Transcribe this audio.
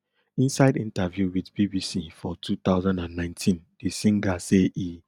inside interview with bbc for two thousand and nineteen di singer say e